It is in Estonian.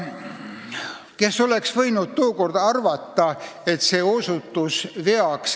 Kes oleks võinud tookord arvata, et see osutub veaks?